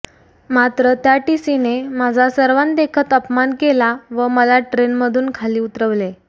मात्र त्या टीसीने माझा सर्वांदेखत अपमान केला व मला ट्रेनमधून खाली उतरवले